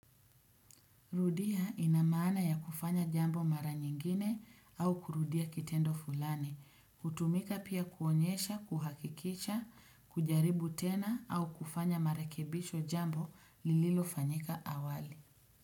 Rudia ina maana ya kufanya jambo mara nyingine au kurudia kitendo fulani, hutumika pia kuonyesha, kuhakikisha, kujaribu tena au kufanya marekebisho jambo lililo fanyika awali.